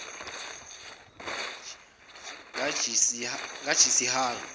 kajisihari